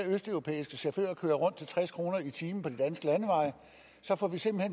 østeuropæiske chauffører køre rundt til tres kroner i timen på de danske landeveje så får vi simpelt